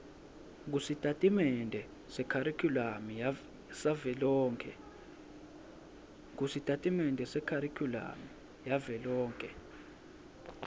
kusitatimende sekharikhulamu savelonkhe